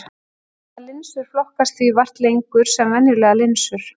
Harðar linsur flokkast því vart lengur sem venjulegar linsur.